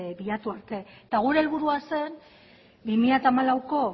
bilatu arte eta gure helburua zen bi mila hamalauko